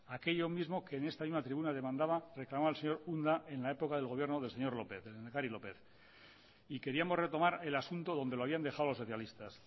aquello mismo que en esta misma tribuna demandaba reclamaba el señor unda en la época del gobierno del señor lópez el lehendakari lópez y queríamos retomar el asunto donde lo habían dejado los socialistas